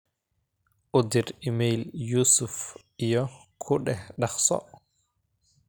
u dir iimayl yusuf iyo ku dheh daqso